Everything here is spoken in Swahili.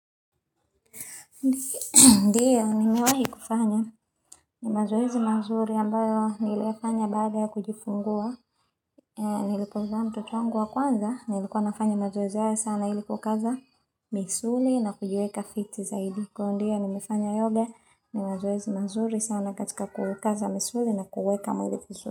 Ndiyo, nimewahi kufanya, ni mazoezi mazuri ambayo nilifanya baada ya kujifungua, nilipozaa mtoto wangu wa kwanza, nilikuwa nafanya mazoezi haya sana ili kuukaza misuli na kujiweka fiti zaidi. Kwa hiyo ndiyo, nimefanya yoga, ni mazoezi mazuri sana katika kukaza misuli na kuweka mwili vizuri.